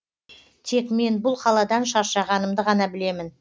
тек мен бұл қаладан шаршағанымды ғана білемін